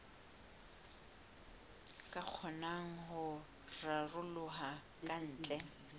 ka kgonang ho raroloha kantle